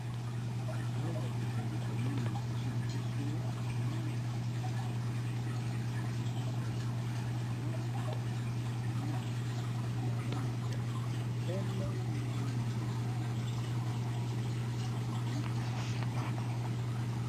Awa tozali komona liboso na biso armoir eza na ba tirwire eza na langi ya pembe na langi ya motane ezali kotekama.